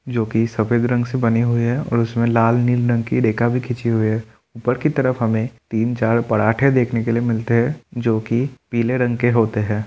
जो कि सफ़ेद रंग से बने हुए है और उसमें लाल नील रंग की रेखा भी खींची हुई है ऊपर की तरफ हमें तीन चार पराठे देखने के लिए मिलते है जो कि पीले रंग के होते है।